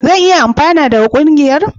Zan iya amfana daga ƙungiyar?